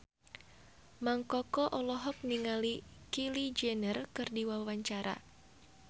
Mang Koko olohok ningali Kylie Jenner keur diwawancara